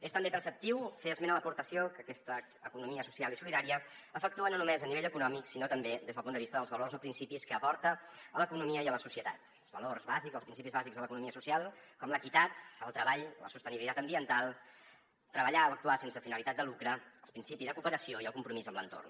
és també preceptiu fer esment a l’aportació que aquesta economia social i solidària efectua no només a nivell econòmic sinó també des del punt de vista dels valors o principis que aporta a l’economia i a la societat els valors bàsics els principis bàsics de l’economia social com l’equitat el treball la sostenibilitat ambiental treballar o actuar sense finalitat de lucre el principi de cooperació i el compromís amb l’entorn